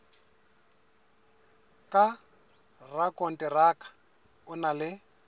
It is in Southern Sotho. ka rakonteraka o na le